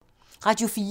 Radio 4